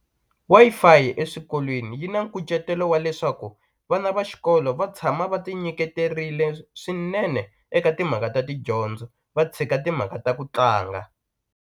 Wi-Fi eswikolweni yi na nkucetelo wa leswaku vana va xikolo va tshama va ti nyiketerile swinene eka timhaka ta tidyondzo va tshika timhaka ta ku tlanga.